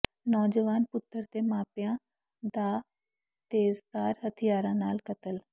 ਨੌਜਵਾਨ ਪੁੱਤਰ ਤੇ ਮਾਪਿਆਂ ਦਾ ਤੇਜ਼ਧਾਰ ਹਥਿਆਰਾਂ ਨਾਲ ਕਤਲ